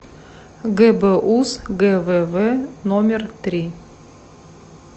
гбуз гвв номер три